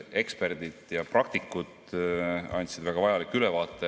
Eksperdid ja praktikud andsid väga vajaliku ülevaate.